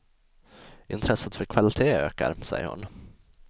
Intresset för kvalité ökar, säger hon.